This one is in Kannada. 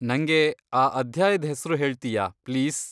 ನಂಗೆ ಆ ಅಧ್ಯಾಯ್ದ್ ಹೆಸ್ರು ಹೇಳ್ತೀಯಾ, ಪ್ಲೀಸ್?